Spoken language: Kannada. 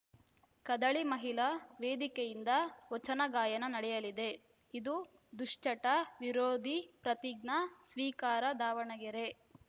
ಕದಳಿ ಮಹಿಳಾ ವೇದಿಕೆಯಿಂದ ವಚನ ಗಾಯನ ನಡೆಯಲಿದೆ ಇದು ದುಶ್ಚಟ ವಿರೋಧಿ ಪ್ರತಿಜ್ಞಾ ಸ್ವೀಕಾರ ದಾವಣಗೆರೆ